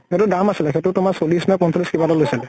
সেইতোৰ দাম আছিলে । সেইতো তোমাৰ চল্লিছ নে পঞ্চল্লিছ কিবা এটা লৈছিলে ।